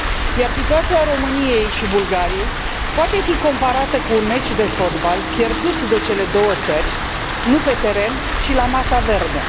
Iar situația României și Bulgariei poate fi comparată cu un meci de fotbal pierdut de cele două țări nu pe teren, ci la masa verde.